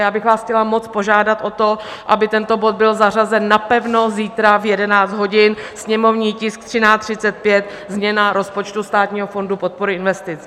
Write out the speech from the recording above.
Já bych vás chtěla moc požádat o to, aby tento bod byl zařazen napevno zítra v 11 hodin, sněmovní tisk 1335, změna rozpočtu Státního fondu podpory investic.